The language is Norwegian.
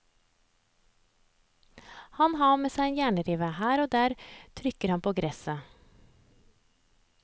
Han har med seg en jernrive, her og der trykker han på gresset.